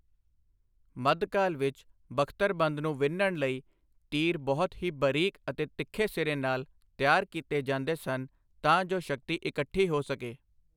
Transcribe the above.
ਮੱਧਕਾਲ ਵਿੱਚ ਬਖ਼ਤਰਬੰਦ ਨੂੰ ਵਿੰਨ੍ਹਣ ਲਈ ਤੀਰ ਬਹੁਤ ਹੀ ਬਰੀਕ ਅਤੇ ਤਿੱਖੇ ਸਿਰੇ ਨਾਲ ਤਿਆਰ ਕਿਤੇ ਜਾਂਦੇ ਸਨ ਤਾਂ ਜੋ ਸ਼ਕਤੀ ਇਕੱਠੀ ਹੋ ਸਕੇI